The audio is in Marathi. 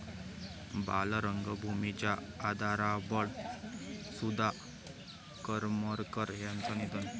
बालरंगभूमीच्या आधारवड सुधा करमरकर यांचं निधन